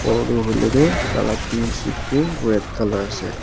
Ghor toh hoile toh taila tin sheet toh red colour ase.